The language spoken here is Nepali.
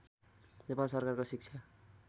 नेपाल सरकारको शिक्षा